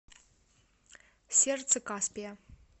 сердце каспия